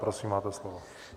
Prosím, máte slovo.